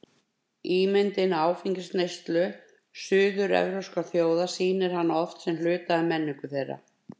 Ímyndin af áfengisneyslu suður-evrópskra þjóða sýnir hana oft sem hluta af menningu þeirra.